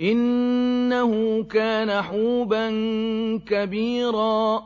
إِنَّهُ كَانَ حُوبًا كَبِيرًا